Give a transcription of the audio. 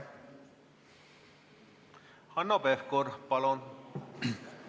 Hanno Pevkur, palun!